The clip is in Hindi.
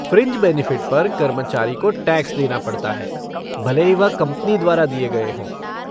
फ़्रिंज बेनिफ़िट पर कर्मचारी को टैक्स देना पड़ता है, भले ही वह कंपनी द्वारा दिए गए हों।